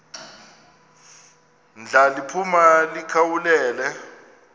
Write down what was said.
ndla liphuma likhawulele